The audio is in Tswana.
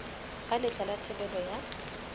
ga letlha la thebolo ya